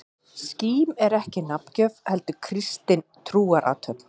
Skírn er ekki nafngjöf, heldur kristin trúarathöfn.